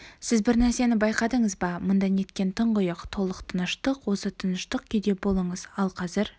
сіз бір нәрсені байқадыңыз ба мұнда неткен тұңғиық толық тыныштық осы тыныштық күйде болыңыз ал қазір